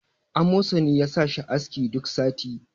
amosani ya sa shi aski duk sati